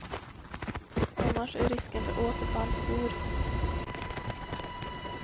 Annars är risken för återfall stor.